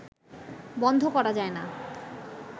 বন্ধ করা যায় না